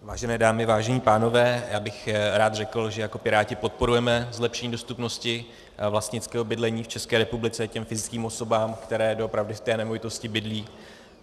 Vážené dámy, vážení pánové, já bych rád řekl, že jako Piráti podporujeme zlepšení dostupnosti vlastnického bydlení v České republice těm fyzickým osobám, které doopravdy v té nemovitosti bydlí.